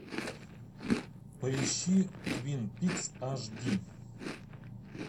поищи твин пикс аш ди